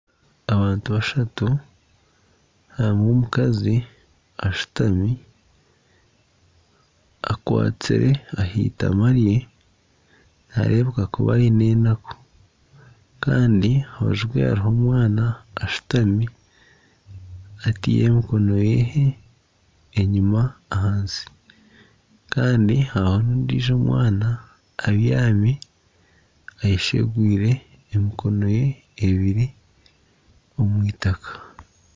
Abantu bashatu hariho omukazi ashutami, akwatsire aha itama rye naareebeka kuba aine enaku, kandi aha rubaju hariho omwana ashutami ataire emikono ye enyima ahansi kandi hariho n'ondiijo omwana abyami eyeshegwire emikono ye ebiri omu itaaka